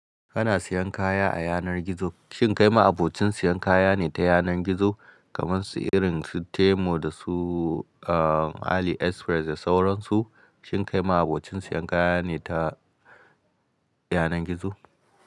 Kana siyan kaya a yanar gizo. Shin kai ma abocin siyan kaya ne ta yanar gizo kamar su irin su Temu da su, uh, AliExpress da sauran su? Shin kai ma abocin siyan kaya ne ta yanar gizo?